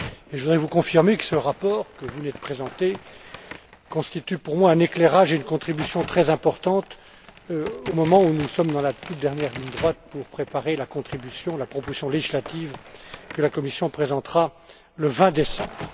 Je voudrais vous confirmer que ce rapport, que vous venez de présenter, constitue pour moi un éclairage, et une contribution très importante au moment où nous sommes dans la toute dernière ligne droite pour préparer la proposition législative que la Commission présentera le 20 décembre.